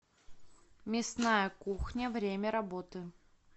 мясная кухня время работы